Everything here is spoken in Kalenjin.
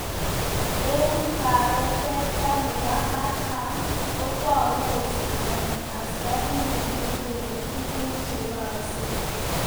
Eng kebeberta nebo katam, kotogu kostugani askarindet ne gere tuguk che yaakse